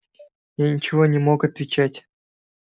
я ничего не мог отвечать